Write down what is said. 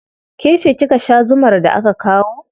Ke ce kika sha zumar da aka kawo.